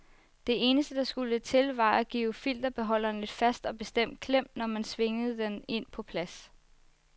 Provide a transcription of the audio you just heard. Det eneste der skulle til var at give filterbeholderen et fast og bestemt klem, når man svingede den ind på plads.